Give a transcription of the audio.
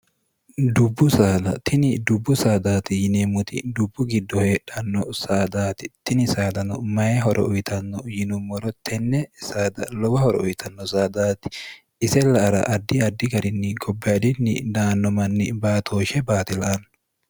dubbutini dubbu saadaati yineemmoti dubbu giddo heedhanno saadaati tini saadano mayi horo uyitanno yinummoro tenne lowa horo uyitanno saadaati isella ara addi addi garinni gobbaadinni daanno manni baatooshe baatila anno